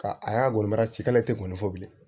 Ka a y'a wele mara cikɛla tɛ ko fɔ bilen